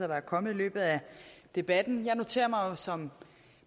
der er kommet i løbet af debatten jeg noterer mig som